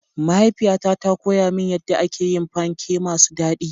Mahaifiyata ta koya min yadda ake yin panke masu daɗi.